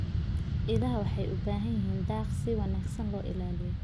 Idaha waxay u baahan yihiin daaq si wanaagsan loo ilaaliyo.